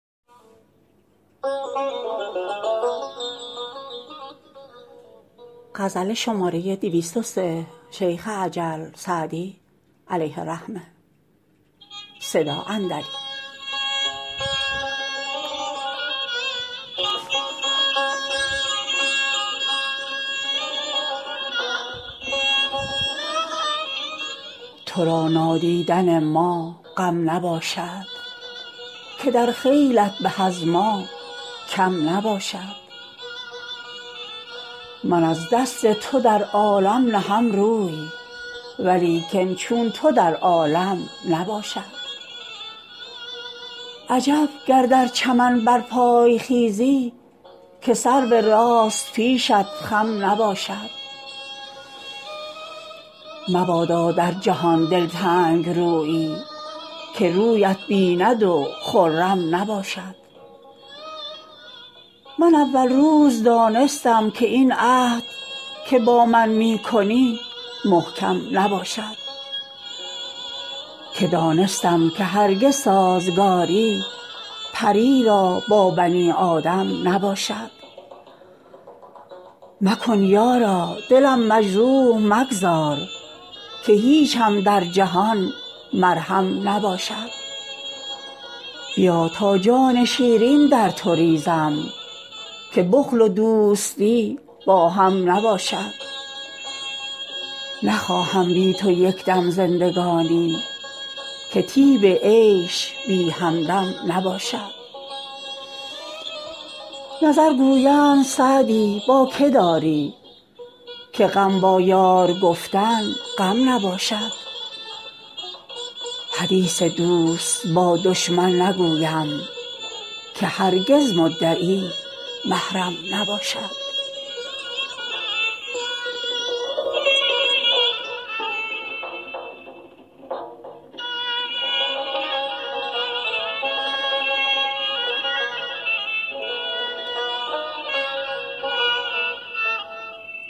تو را نادیدن ما غم نباشد که در خیلت به از ما کم نباشد من از دست تو در عالم نهم روی ولیکن چون تو در عالم نباشد عجب گر در چمن برپای خیزی که سرو راست پیشت خم نباشد مبادا در جهان دلتنگ رویی که رویت بیند و خرم نباشد من اول روز دانستم که این عهد که با من می کنی محکم نباشد که دانستم که هرگز سازگاری پری را با بنی آدم نباشد مکن یارا دلم مجروح مگذار که هیچم در جهان مرهم نباشد بیا تا جان شیرین در تو ریزم که بخل و دوستی با هم نباشد نخواهم بی تو یک دم زندگانی که طیب عیش بی همدم نباشد نظر گویند سعدی با که داری که غم با یار گفتن غم نباشد حدیث دوست با دشمن نگویم که هرگز مدعی محرم نباشد